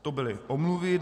To byly omluvy.